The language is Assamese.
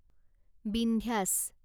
বিন্ধ্যাচ